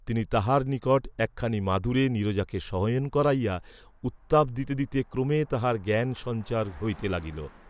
তিনি তাহার নিকট একখানি মাদুরে নীরজাকে শয়ন করাইয়া উত্তাপ দিতে দিতে ক্রমে তাহার জ্ঞান সঞ্চার হইতে লাগিল।